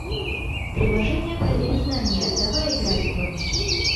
приложение проверь знания давай играть в